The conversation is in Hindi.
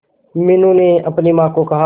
मीनू ने अपनी मां को कहा